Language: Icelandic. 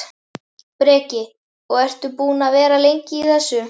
Breki: Og ertu búinn að vera lengi í þessu?